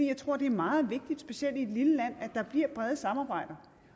jeg tror at det er meget vigtigt specielt i et lille land at der bliver et bredt samarbejde